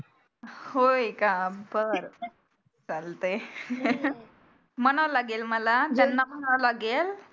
होय का बरं चालतंय मनाला लागेल मला